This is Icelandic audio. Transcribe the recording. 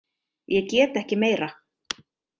Ég get ekki meira.